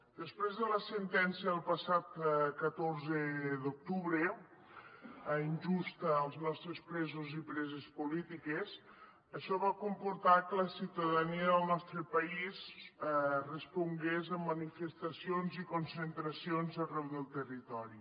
després de la sentència del passat catorze d’octubre injusta per als nostres presos i preses polítiques això va comportar que la ciutadania del nostre país respongués a manifestacions i concentracions arreu del territori